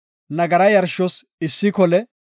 nagara yarshos issi kole;